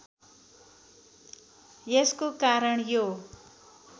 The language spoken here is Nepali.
यसको कारण यो